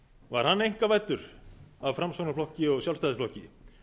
var hann einkavæddur af framsóknarflokki og sjálfstæðisflokki